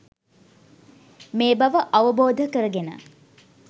මේ බව අවබෝධ කරගෙන